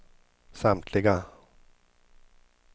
samtliga